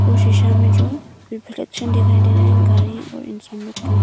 वो शीशा में जो रिफ्लेक्शन दिखाई दे रहा है गाड़ी और इंसान लोग का।